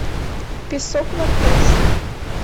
песок варфейс